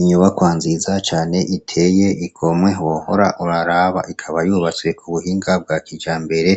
Inyubakwa nziza cane iteye igomwe wohora ururaba, ikaba yubatswe ku buhinga bwa kijambere